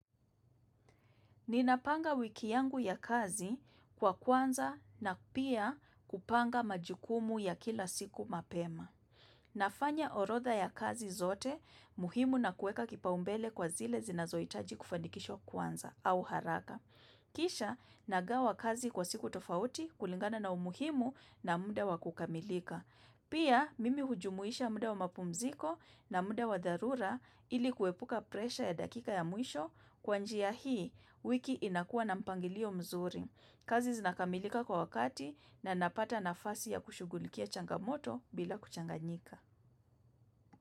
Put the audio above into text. Ninapanga wiki yangu ya kazi kwa kwanza na pia kupanga majukumu ya kila siku mapema. Nafanya orotha ya kazi zote, muhimu na kueka kipaumbele kwa zile zinazohitaji kufanikishwa kwanza au haraka. Kisha, nagawa kazi kwa siku tofauti kulingana na umuhimu na muda wa kukamilika. Pia mimi hujumuisha muda wa mapumziko na muda wa dharura ili kuepuka presher ya dakika ya mwisho kwa njia ya hii wiki inakua na mpangilio mzuri. Kazi zinakamilika kwa wakati na napata nafasi ya kushugulikia changamoto bila kuchanganyika.